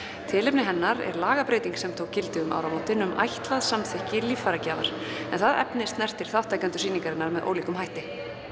tilefni hennar er lagabreyting sem tól gildi um áramótin um ætlað samþykki líffæragjafar en það efni snertir þátttakendur sýningarinnar með ólíkum hætti